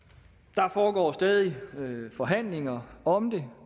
der foregår stadig forhandlinger om det